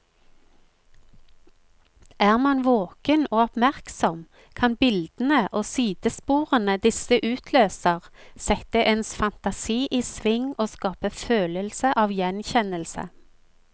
Er man våken og oppmerksom, kan bildene og sidesporene disse utløser, sette ens fantasi i sving og skape følelse av gjenkjennelse.